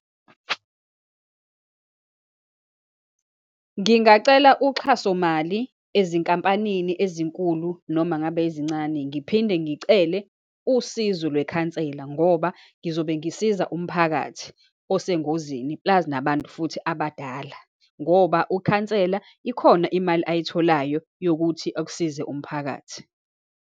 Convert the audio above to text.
Ngingacela uxhasomali ezinkampanini ezinkulu, noma ngabe ezincane, ngiphinde ngicele usizo lwekhansela ngoba ngizobe ngisiza umphakathi osengozini, plus nabantu futhi abadala, ngoba ukhansela ikhona imali ayitholayo yokuthi akusize umphakathi.